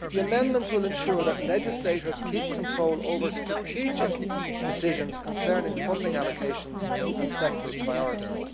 The amendments will ensure that legislators keep control over strategic decisions concerning funding allocations and sectoral priorities.